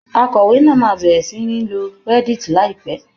Akọ̀wé náà máa bẹ̀rẹ̀ sí ní lo reddit láìpẹ́.